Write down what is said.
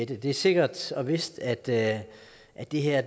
det er sikkert og vist at det at det her